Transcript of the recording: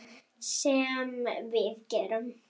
Sem við gerum.